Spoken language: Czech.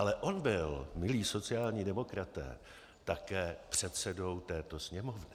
Ale on byl, milí sociální demokraté, také předsedou této Sněmovny.